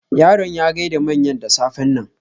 Yaron ya gaida manyan da safen nan.